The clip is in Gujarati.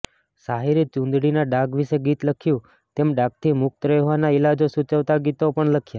સાહિરે ચૂંદડીના ડાઘ વિશે ગીત લખ્યું તેમ ડાઘથી મુક્ત રહેવાના ઇલાજો સૂચવતા ગીતો પણ લખ્યા